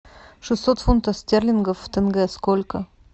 шестьсот фунтов стерлингов в тенге сколько